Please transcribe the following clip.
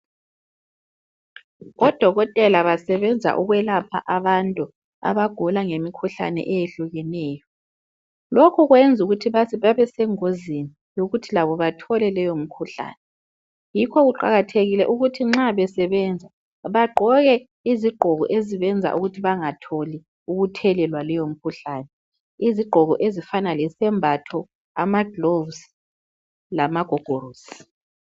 Odokotela basebenza ukwelapha abantu abagula ngemikhuhlane eyehlukeneyo lokhu kwenza ukuthi babesegozini yokuthi labo bathole leyomikhuhlane yikho kuqakathekile ukuthi nxa besebenza bagqoke izigqoko ezibenza ukuthi bangatholi ukuthelelwa leyo mikhuhlane izigqoko ezifanana lesembatho amagilovisi lamagogorosi.